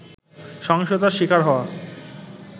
সহিংসতার শিকার হওয়া